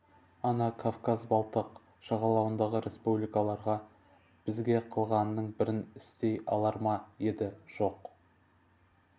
ана кавказ балтық жағалауындағы республикаларға бізге қылғанның бірін істей алар ма еді жоқ